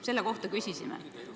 Nende kohta küsisimegi.